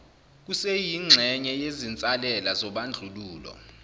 kuseyingxenye yezinsalela zobandlululo